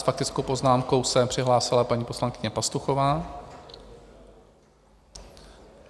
S faktickou poznámkou se přihlásila paní poslankyně Pastuchová.